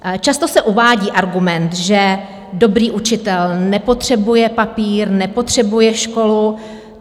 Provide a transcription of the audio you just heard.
Často se uvádí argument, že dobrý učitel nepotřebuje papír, nepotřebuje školu.